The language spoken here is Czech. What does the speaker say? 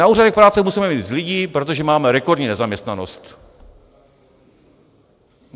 Na úřadech práce musíme mít víc lidí, protože máme rekordní nezaměstnanost.